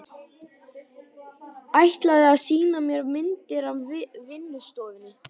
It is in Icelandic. Ætlaði að sýna mér myndir á vinnustofunni.